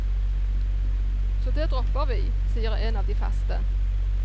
Så det dropper vi, sier en av de faste.